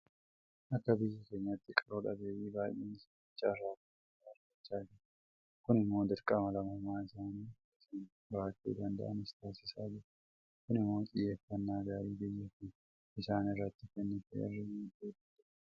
Akka biyya keenyaatti qaroo dhabeeyyiin baay'een isaanii carraa barnootaa argachaa jiru. Kun immoo dirqama lammummaa isaanii akka isaan bahachuu danda'anis taasisaa jira. Kun immoo xiyyeeffannaa gaarii biyyi kun isaan irratti kennite irraa madduu danda'eera.